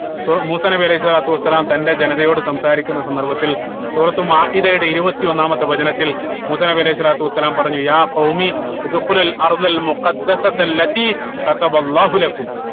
സൂ മൂസാ നബി അലൈഹി സ്വലാത്തു വസ്സലാം തന്റെ ജനതയോട് സംസാരിക്കുന്ന സന്ദർഭത്തിൽ സൂറത്തുൽ മാഇതയുടെ ഇരുപത്തി ഒന്നാം വചനത്തിൽ മൂസാ നബി അലൈഹി സ്വലാത്തു വസ്സലാം പറഞ്ഞു